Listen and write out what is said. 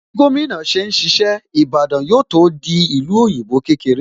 Bí gómìnà ṣe ń ṣiṣẹ́, Ìbàdàn yóò tó di ìlú òyìnbó kékeré